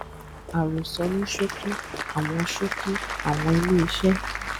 àròsọ ní ṣókí àwọn ṣókí àwọn ilé iṣẹ